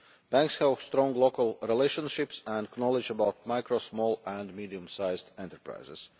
Banks have strong local relationships and knowledge about micro, small and medium-sized enterprises.